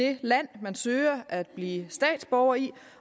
det land man søger at blive statsborger i